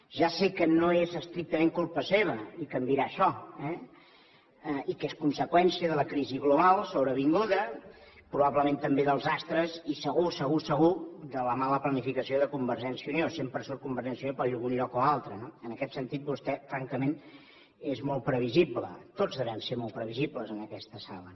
ja sé que no és estrictament culpa seva i que em dirà això eh i que és conseqüència de la crisi global sobrevinguda probablement també dels astres i segur segur segur de la mala planificació de convergència i unió sempre surt convergència i unió per algun lloc o altre no en aquest sentit vostè francament és molt previsible tots devem ser molt previsibles en aquesta sala